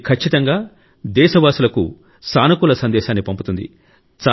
ఇది ఖచ్చితంగా దేశవాసులకు సానుకూల సందేశాన్ని పంపుతుంది